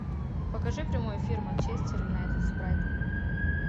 покажи прямой эфир манчестер юнайтед с брайтоном